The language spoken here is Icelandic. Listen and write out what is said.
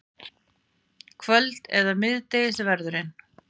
Kvöld- eða miðdegisverðurinn.